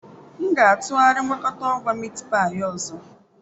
M ga-atụgharị mgwakota agwa Miitipai ọzọ.